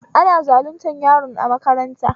Ana zaluntar yaron a makaranta